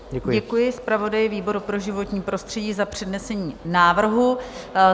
Děkuji zpravodaji výboru pro životní prostředí za přednesení návrhu.